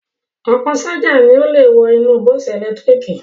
Ọ̀pọ̀ ṣájà ni ó le wọ inú bọ́ọ́sì ẹ̀lẹ́tíríkì